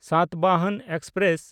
Satavahana express